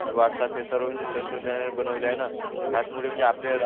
WhatsApp हे सर्व तंत्रज्ञानाने बनवले आहे ना त्याचमुळे आपले